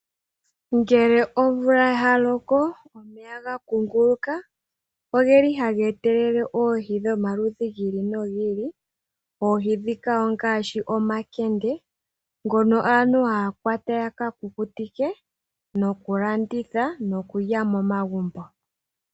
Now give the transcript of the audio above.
Ngele omvula yaloko omeya gakunguluka ogeli haga etelele oohi dhomaludhi gi ili nogi ili. Oohi dhika ongaashi omakende ngono aantu haya kwata yakakukutike nokulanditha nokulya momagumbo.